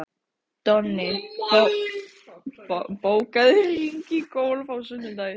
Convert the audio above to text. Donni, bókaðu hring í golf á sunnudaginn.